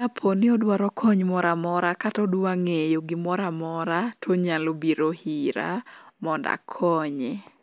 kaponi odwaro kony moramora kata odwa ng'eyo gimoramora tonyalo biro hira mond akonye